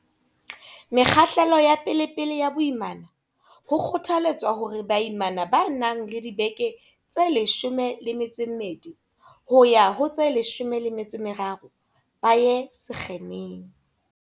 Mekgahlelong ya pelepele ya boimana, ho kgotha letswa hore baimana ba nang le dibeke tse 12 yo ha ho tse 13 ba ye sekheneng.